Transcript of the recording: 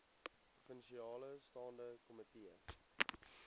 provinsiale staande komitee